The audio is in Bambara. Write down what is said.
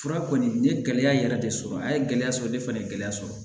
Fura kɔni ye gɛlɛya yɛrɛ de sɔrɔ an ye gɛlɛya sɔrɔ ne fana gɛlɛya sɔrɔ